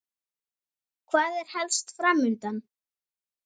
Hvað er helst fram undan?